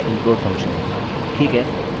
तो यह implode function है